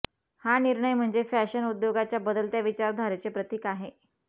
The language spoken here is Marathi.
हा निर्णय म्हणजे फॅशन उद्योगाच्या बदलत्या विचारधारेचे प्रतिक आहे